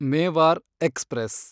Mewar express